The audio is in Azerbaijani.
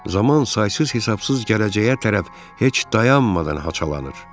Zaman saysız-hesabsız gələcəyə tərəf heç dayanmadan haçalanır.